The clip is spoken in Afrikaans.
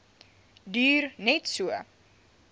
duur net so